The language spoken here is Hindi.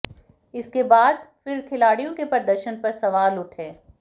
इसके बाद फिर खिलाड़ियों के प्रदर्शन पर सवाल उठे